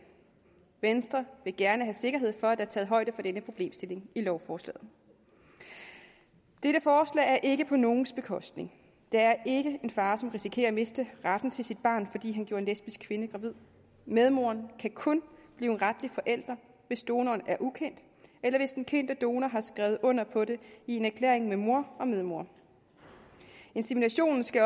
venstre vil gerne have sikkerhed for at der er taget højde for denne problemstilling i lovforslaget dette forslag er ikke på nogens bekostning der er ikke en far som risikerer at miste retten til sit barn fordi han gjorde en lesbisk kvinde gravid medmoren kan kun blive en retlig forælder hvis donoren er ukendt eller hvis den kendte donor har skrevet under på det i en erklæring med mor og medmor inseminationen skal